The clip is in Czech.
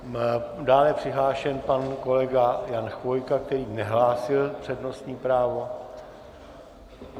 Dále je přihlášen pan kolega Jan Chvojka, který nehlásil přednostní právo.